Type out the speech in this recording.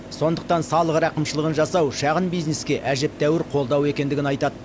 сондықтан салық рақымшылығын жасау шағын бизнеске әжептәуір қолдау екендігін айтады